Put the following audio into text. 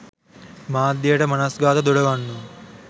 මාධ්‍යයට මනස්ගාත දොඩවන්නෝ